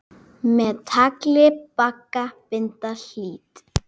Með tagli bagga binda hlýt.